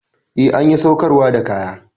Eh, an ƴi saukarwa da kaya.